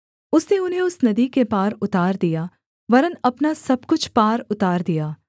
उसने उन्हें उस नदी के पार उतार दिया वरन् अपना सब कुछ पार उतार दिया